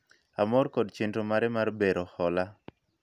amor kod chenro mare mar bero hola